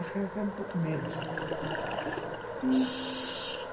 Acho que era até um pouco menos.